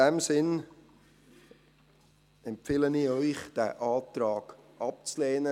In diesem Sinn empfehle ich Ihnen, den Antrag abzulehnen.